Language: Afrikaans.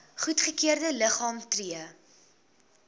goedgekeurde liggame tree